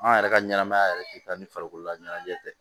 An yɛrɛ ka ɲɛnɛmaya yɛrɛ tɛ taa ni farikolola ɲɛnajɛ